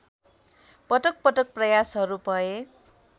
पटकपटक प्रयासहरू भए